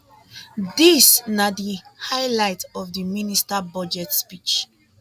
dis na di highlight of di minister budget speech